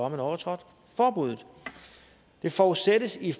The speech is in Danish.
man overtrådt forbuddet det forudsættes i